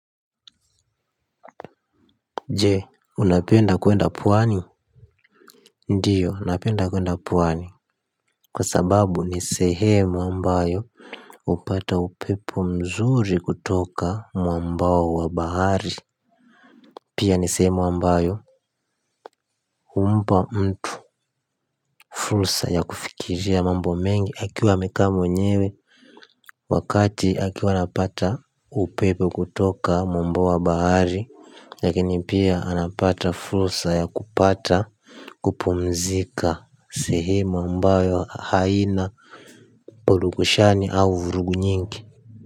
Jee, unapenda kuenda pwani ndiyo, napenda kwenda pwani kwa sababu ni sehemu ambayo hupata upepo mzuri kutoka mwamba wa bahari pia ni sehemu ambayo humpa mtu fursa ya kufikiria mambo mengi akiwa amekaa mwenyewe wakati akiwa anapata upepo kutoka mwamba wa bahari lakini pia anapata fursa ya kupata kupumzika sehemu ambayo wa haina polukoshani au vurugu nyingi.